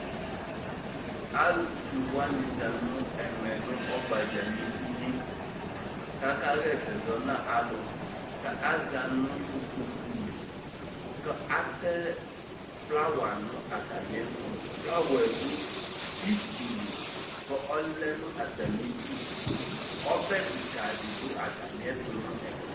Alʋfue wanɩ za nʋ ɛmɛ nʋ ɔgbadza nʋ inye kʋ akaɣa ɛsɛ zɔ nʋ alʋ kʋ aza nʋ ukpoku li kʋ atɛ flawa nʋ atamɩɛtʋ Flawa yɛ dʋ itsi li kʋ ɔlɛ nʋ atamɩdu Ɔbɛ kɩka dɩ dʋ atamɩɛtʋ nʋ ɛfɛ